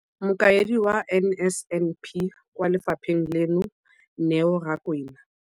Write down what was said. Mokaedi wa NSNP kwa lefapheng leno, Neo Rakwena,